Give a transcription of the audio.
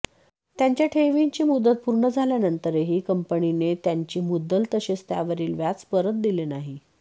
त्यांच्या ठेवींची मुदत पूर्ण झाल्यानंतरही कंपनीने त्यांची मुद्दल तसेच त्यावरील व्याज परत दिले नाही